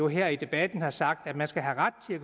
her i debatten har sagt at man skal have ret til at